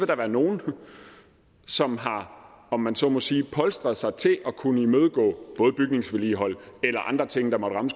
der være nogle som har om man så må sige polstret sig til at kunne imødegå både bygningsvedligehold eller andre ting der måtte ramme